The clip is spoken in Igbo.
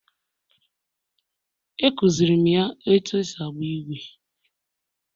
A kụziirim ya otú e si agba ígwè